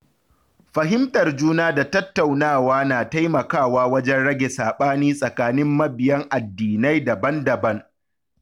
Fahimtar juna da tattaunawa na taimakawa wajen rage sabani tsakanin mabiyan addinai daban-daban.